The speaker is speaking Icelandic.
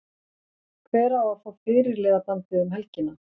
Hver á að fá fyrirliðabandið um helgina?